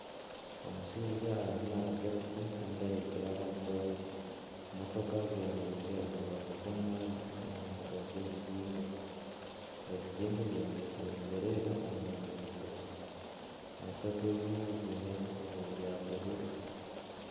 Omushaija arimu navuga piki Kandi aheekire abantu babiri ,emotoka zemereire omu rubaju rw'omuhanda omu mbuga z'ebizimbe ,ebizimbe byombekire nibireeba omu nguuto ,motoka ezimwe ziine ebikuubo bya bururu.